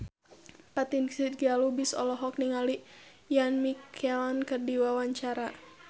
Fatin Shidqia Lubis olohok ningali Ian McKellen keur diwawancara